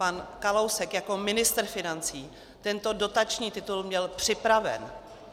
Pan Kalousek jako ministr financí tento dotační titul měl připraven.